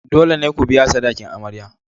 Dole ne ku biya sadakin amarya.